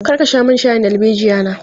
Kar ka sha min shayin darbejiya na!